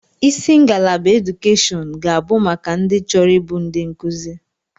Isi ngalaba edukeshọn ga abụ maka ndị chọrọ ịbụ ndi nkuzi.